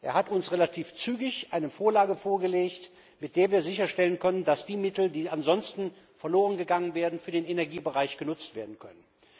Er hat uns relativ zügig eine Vorlage vorgelegt, mit der wir sicherstellen konnten, dass die Mittel, die ansonsten verlorengegangen wären, für den Energiebereich genutzt werden können.